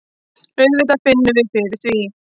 Auðvitað finnum við fyrir því.